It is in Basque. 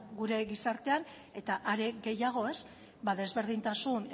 gure gizartean eta are gehiago desberdintasun